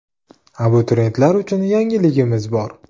Abituriyentlar uchun yangiligimiz bor .